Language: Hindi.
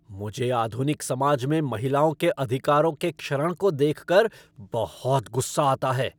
मुझे आधुनिक समाज में महिलाओं के अधिकारों के क्षरण को देख कर बहुत गुस्सा आता है।